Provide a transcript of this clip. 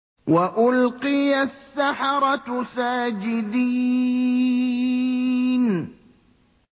وَأُلْقِيَ السَّحَرَةُ سَاجِدِينَ